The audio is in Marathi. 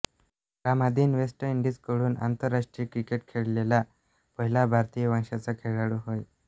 रामाधीन वेस्ट इंडीझकडून आंतरराष्ट्रीय क्रिकेट खेळलेला पहिला भारतीय वंशाचा खेळाडू होय